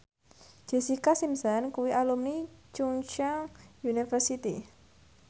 Jessica Simpson kuwi alumni Chungceong University